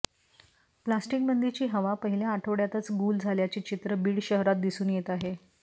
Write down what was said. प्लास्टिकबंदीची हवा पहिल्या आठवड्यातच गुल झाल्याचे चित्र बीड शहरात दिसून येत आहे